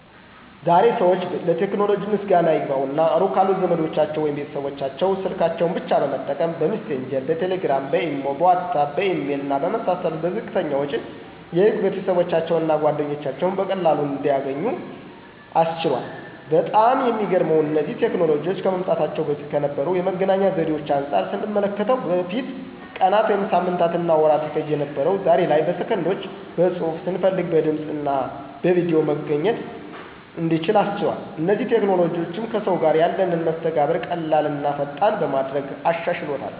ዛሬ ዛሬ ሰዎች ለቴክኖሎጂ ምስጋና ይግባውና ሩቅ ካሉ ዘመዶቻቸው ወይም ቤተሰቦቻቸው ስልካቸውን ብቻ በመጠቀም :- በሚሴንጀር፣ በቴሌግራም፣ በኢሞ፣ በዋትስአፕ፣ በኢሜል እና በመሳሰሉት በዝቅተኛ ወጪ የሩቅ ቤተሰባቸውን እና ጓደኞቻቸውን በቀላሉ ማግኘት እንዲችሉ አስችሏል። በጣም የሚገርመው እነዚህ ቴክኖሎጂዎች ከመምጣታቸው በፊት ከነበሩ የመገናኛ ዘዴዎች አንጻር ስንመለከተው በፊት ቀናት ወይም ሳምንታትና ወራት ይፈጅ የነበረው ዛሬ ላይ በሰከንዶች በፅሁፍ፣ ስንፈልግ በድምፅ ወይም በቪድዮ መገናኘት እንድንችል አስችሏል። እነዚህ ቴክኖሎጂዎችም ከሰዎች ጋር ያለንን መስተጋብር ቀላል ቀላልና ፈጣን በማድረግ አሻሽሎታል።